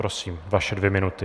Prosím, vaše dvě minuty.